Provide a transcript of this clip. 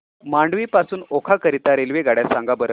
मांडवी पासून ओखा करीता रेल्वेगाड्या सांगा बरं